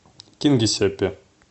кингисеппе